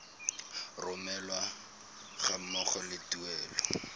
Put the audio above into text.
romelwa ga mmogo le tuelo